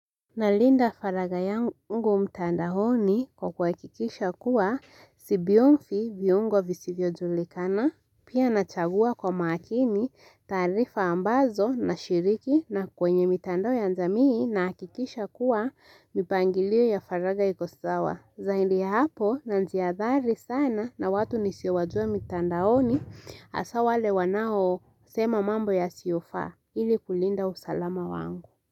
Nalinda faraja yangu mtandaoni kwa kuhakikisha kuwa si bionzi viungo visivyo julikana. Pia nachagua kwa makini tarifa ambazo nashiriki na kwenye mitandao ya jamii nahakikisha kuwa mipangilio ya faraja iko sawa. Zaidi ya hapo na najiadhari sana na watu nisiowajua mitandaoni hasa wale wanao sema mambo yasiyo faa ili kulinda usalama wangu.